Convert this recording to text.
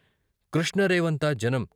కృష్ణ రేవంతా జనం.